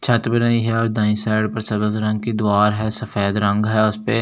छत भी नई है और दाई साइड पर रंग की दुवार है सफेद रंग है उसपे और --